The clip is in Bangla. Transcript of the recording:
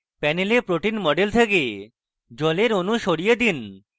panel protein model থেকে জলের অনু সরিয়ে দিন